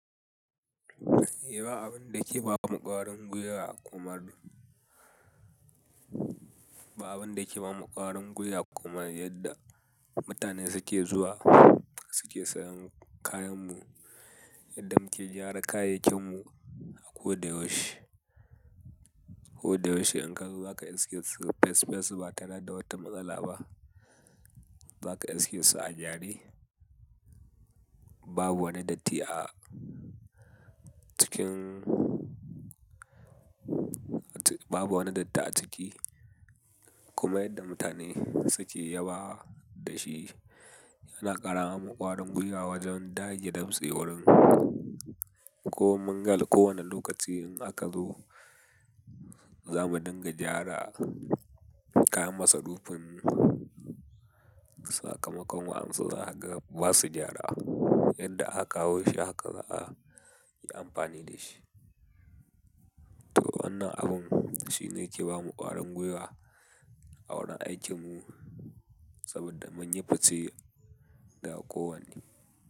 Eh, yake bamu ƙwarin guiwa a hukumar mu, ba abun da yake bamu ƙwarin guiwa komar yadda mutane suke zuwa suke sayan kayan mu, yadda muke gyara kayayyakin mu a ko da yaushe. Ko da yaushe in ka zo zaka iske fes fes ba tareda da wata matsala ba. Za ka iske su a gyare. Babu woni dotti a cikin babu woni datti a ciki kuma yadda mutane suke yabawa da ci yana ƙara mamu ƙwarin guiwa wojen dage damse warmu ko mungal ko wone lokaci in aka zo za mu dinga gyara kayan masarufin sakamakon wa'ansu zakaga basu gyara. Yadda aka kawo ci haka za a yi amfani da ci. To wannan abun shine yake bamu ƙwarin guiwa a wurin aikimu saboda mun yi fice da kowanne.